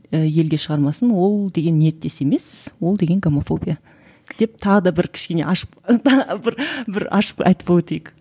і елге шығармасын ол деген ниеттес емес ол деген гомофобия деп тағы да бір кішкене ашық бір бір ашық айтып ы өтейік